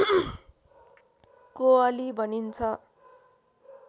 कोअली भनिन्छ